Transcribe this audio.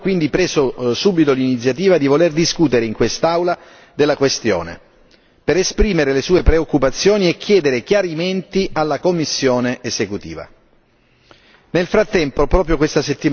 Il Parlamento europeo, tramite la commissione agricoltura, ha quindi preso subito l'iniziativa di voler discutere in quest'Aula della questione, per esprimere le sue preoccupazioni e chiedere chiarimenti alla Commissione esecutiva.